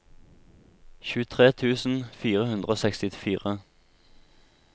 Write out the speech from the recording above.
tjuetre tusen fire hundre og sekstifire